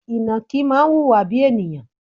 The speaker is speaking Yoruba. Ìnàkí máa ń wùwà bíi ènìyàn.